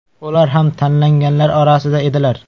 Ular ham tanlanganlar orasida edilar.